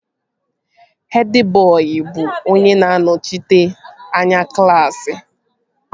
Hed bọị bụ onye na-anọchite anya klaasị